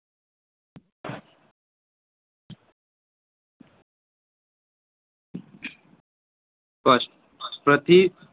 સ્પષ્ટ પ્રતિ